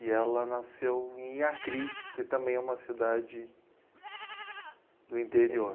E ela nasceu em Iacri, que também é uma cidade do interior.